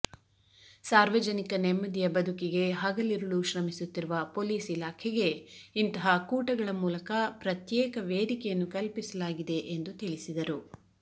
ಸಾರ್ವಜನಿಕ ನೆಮ್ಮದಿಯ ಬದುಕಿಗೆ ಹಗಲಿರುಳು ಶ್ರಮಿಸುತ್ತಿರುವ ಪೊಲೀಸ್ ಇಲಾಖೆಗೆ ಇಂತಹ ಕೂಟಗಳ ಮೂಲಕ ಪ್ರತ್ಯೇಕ ವೇದಿಕೆಯನ್ನು ಕಲ್ಪಿಸಲಾಗಿದೆ ಎಂದು ತಿಳಿಸಿದರು